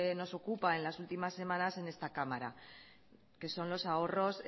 nos ocupa en las últimas semanas en esta cámara que son los ahorros